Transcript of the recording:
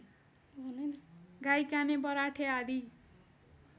गाईकाने बराठे आदि